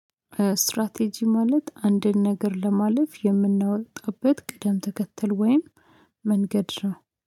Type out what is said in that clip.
ስትራቴጂ ማለት አንድን ነገር ለማለፍ የምናወጣበት ቅደም ተከተል ወይም መንገድ ነው።